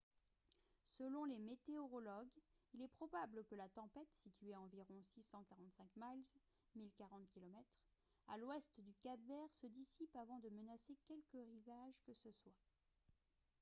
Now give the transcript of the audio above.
selon les météorologues il est probable que la tempête située à environ 645 miles 1 040 km à l’ouest du cap-vert se dissipe avant de menacer quelque rivage que ce soit